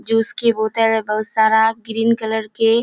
जो उसकी बोतल बहुत सारा ग्रीन कलर के --